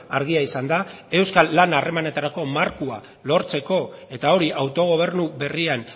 argia izan da euskal lana harremanetarako markoa lortzeko eta hori autogobernu berrian